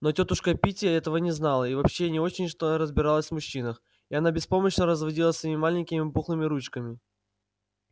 но тётушка питти этого не знала и вообще не очень-то разбиралась в мужчинах и она беспомощно разводила своими маленькими пухлыми ручками